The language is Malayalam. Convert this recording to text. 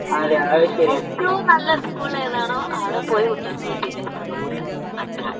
ഏറ്റവും നല്ല സ്കൂള് ഏതാണോ അവിടെ പോയ് കുട്ടികൾക്ക് വിദ്ത്യഭ്യാസം കൊടുക്കുക അത്ര.